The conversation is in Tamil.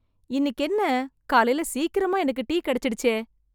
இன்னிக்கு என்ன, காலைல சீக்கிரமா எனக்கு டீ கெடைச்சிடுச்சே...